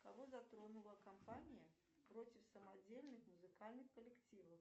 кого затронула кампания против самодельных музыкальных коллективов